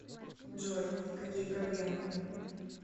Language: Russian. джой какие проблемы